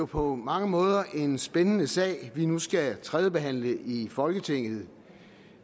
på mange måder en spændende sag vi nu skal tredjebehandle i folketinget